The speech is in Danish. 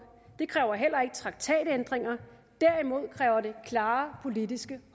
det kræver heller ikke traktatændringer derimod kræver det klare politiske